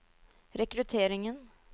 rekrutteringen